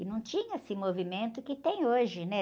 E não tinha esse movimento que tem hoje, né?